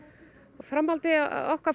og framhaldinu á okkar